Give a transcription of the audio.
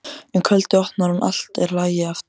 Um kvöldið opnar hún og allt er í lagi aftur.